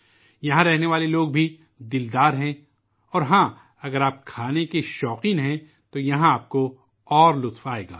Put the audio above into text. چنڈی گڑھ کے عوام بھی بڑے دل والے ہوتے ہیں، اور ہاں، اگر آپ کھانے کے شوقین ہیں، تو یہاں آپ کو اور لطف آئے گا